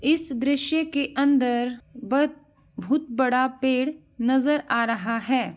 इस दृश्य के अंदर बत भुत बड़ा पेड़ नज़र आ रहा है।